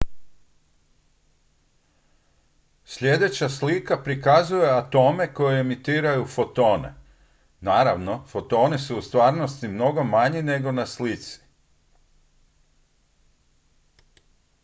sljedeća slika prikazuje atome koji emitiraju fotone naravno fotoni su u stvarnosti mnogo manji nego na slici